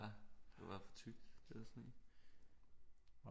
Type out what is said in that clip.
Ja det var for tykt det der sne